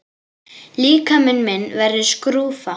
Líkami minn verður skrúfa.